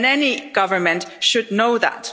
Any government should know that.